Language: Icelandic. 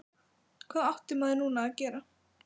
Hvað átti maður nú að gera?